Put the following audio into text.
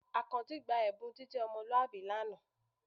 Àkànjí gba ẹ̀bùn ìjẹ́ ọmọlúwàbí lánàá